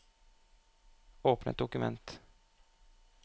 Åpne et dokument